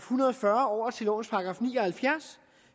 hundrede og fyrre over til lovens § ni og halvfjerds